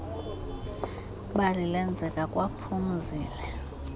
bali lenzeka kwaphumzile